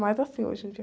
Mas assim, hoje em dia.